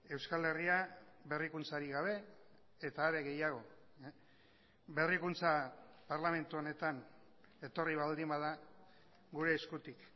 euskal herria berrikuntzarik gabe eta are gehiago berrikuntza parlamentu honetan etorri baldin bada gure eskutik